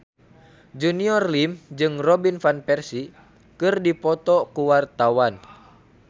Junior Liem jeung Robin Van Persie keur dipoto ku wartawan